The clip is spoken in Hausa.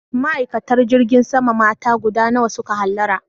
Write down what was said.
Ma'aikatan jirgin sama mata guda nawa su ka hallara?